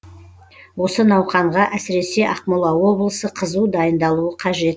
осы науқанға әсіресе ақмола облысы қызу дайындалуы қажет